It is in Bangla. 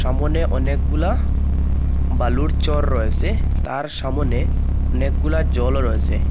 সামোনে অনেকগুলা বালুর চর রয়েসে তার সামোনে অনেকগুলা জলও রয়েসে।